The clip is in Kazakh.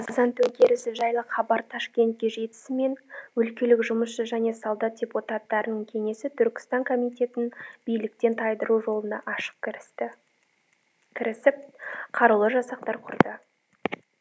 қазан төңкерісі жайлы хабар ташкентке жетісімен өлкелік жұмысшы және солдат депутаттарының кеңесі түркістан комитетін биліктен тайдыру жолына кірісіп қарулы жасақтар құрды